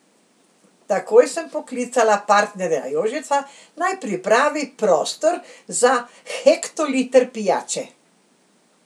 Takoj sem poklicala partnerja Jožeta, naj pripravi prostor za hektoliter pijače.